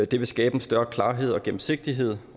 det vil skabe mere klarhed og større gennemsigtighed